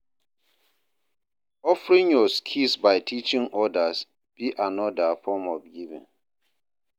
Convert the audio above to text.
Offering yur skills by teaching odas be anoda form of giving.